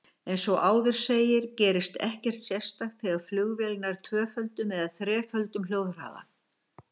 Eins og áður segir gerist ekkert sérstakt þegar flugvél nær tvöföldum eða þreföldum hljóðhraða.